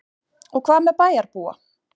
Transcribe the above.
Og hvað með bæjarbúa?